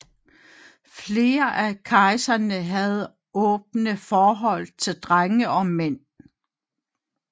Flere af kejserne havde åbne forhold til drenge og mænd